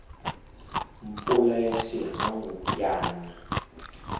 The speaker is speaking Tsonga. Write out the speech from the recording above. mpfula ya xihangu ya na